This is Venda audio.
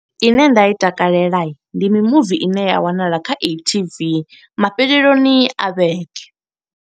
I ne nda i takalela, ndi mimuvi ine ya wanala kha e-TV mafheleloni a vhege.